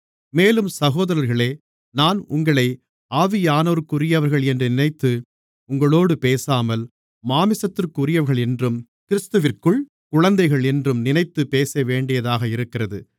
மேலும் சகோதரர்களே நான் உங்களை ஆவியானவருக்குரியவர்கள் என்று நினைத்து உங்களோடு பேசாமல் மாம்சத்திற்குரியவர்களென்றும் கிறிஸ்துவிற்குள் குழந்தைகளென்றும் நினைத்துப் பேசவேண்டியதாக இருக்கிறது